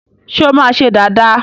ṣe o ma ṣe Dàda?